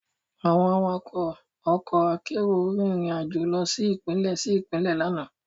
Àwọn awakọ̀ ọkọ akérò rìn rìn àjò lọ sí Ìpínlẹ̀ sí Ìpínlẹ̀ lánàá